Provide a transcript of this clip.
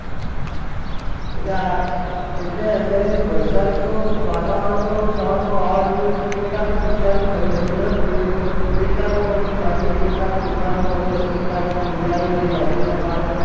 એટલે અત્યારે વરસાદની તો વાતાવરણ તો સવારમાં વાવાઝોડું તે કેટલાકને નુકસાન ભી થયું હશે ચલોને જોઈએ તો કેટલાક લોકોને નુકસાન થયું છે કેટલાકની દુકાનો પડી હશે કેટલાકની રોજગારી જે દુકાનો